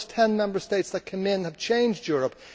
those ten Member States that came in have changed Europe.